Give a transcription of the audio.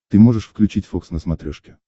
ты можешь включить фокс на смотрешке